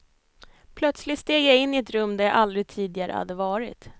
Plötsligt steg jag in i ett rum där jag aldrig tidigare hade varit.